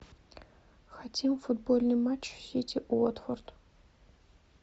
хотим футбольный матч сити уотфорд